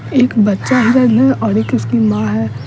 एक बच्चा हिरण है और एक उसकी मां है।